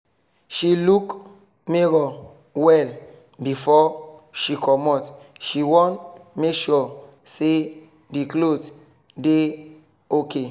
she look mirror well before she comot she wan make sure say the cloth dey okay.